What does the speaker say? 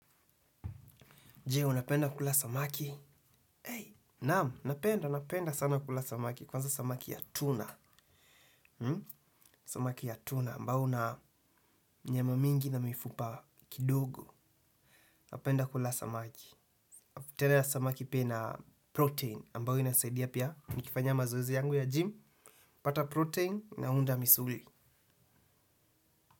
Je, unapenda kula samaki? Naam, napenda, napenda sana kula samaki, kwanza samaki ya tuna. Samaki ya tuna ambao una nyama mingi na mifupa kidogo. Napenda kula samaki. Tele ya samaki pia ina protein ambao inasaidia pia. Nikifanya mazoezi yangu ya gmy hupata protein naunda misuli.